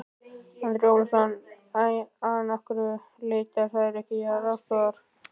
Andri Ólafsson: En af hverju leita þær sér ekki aðstoðar?